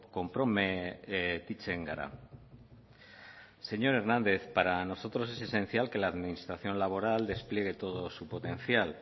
konprometitzen gara señor hernández para nosotros es esencial que la administración laboral despliegue todo su potencial